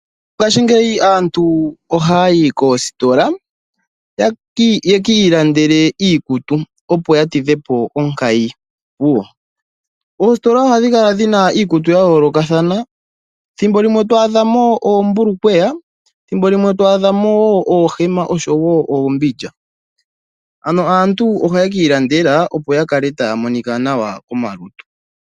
Ngashii ngika aantu ohaya yi koositola ya kiilandele iikutu, opo yatidhepo onkayi muyo. Oositola ohadhi kala dhina iikutu ya yoolokathana, thimbo limwe to adhamo; oombulukweya, thimbo limwe to adhamo oohema oshowo uumbindja. Ano aantu ohaya kiilandela opo, yakale taya monika nawa komalutu.